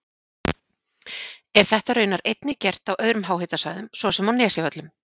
Er þetta raunar einnig gert á öðrum háhitasvæðum svo sem á Nesjavöllum.